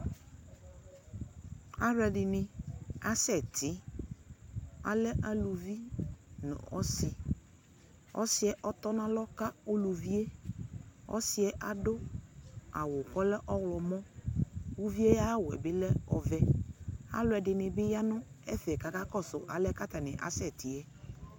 Alu ɛdini asɛti alɛ aluvi nu ɔsi ɔsi yɛ ɔtɔnalɔ ka uluvi yɛ ɔsi yɛ adu awu ku ɔlɛ ɔɣlɔmɔ uvi ayu awu yɛ bi ɔlɛ ɔvɛ alu ɛdini bi ya nu ɛfɛ ku akakɔsu alɛna yɛ atani akasɛti yɛ